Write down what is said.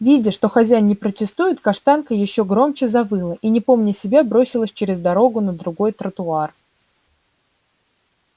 видя что хозяин не протестует каштанка ещё громче завыла и не помня себя бросилась через дорогу на другой тротуар